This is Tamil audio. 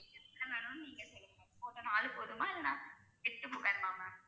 எத்தனை வேணும்னு நீங்க சொல்லுங்க ma'am நாலு போதுமா இல்லன்னா எட்டு வேணுமா ma'am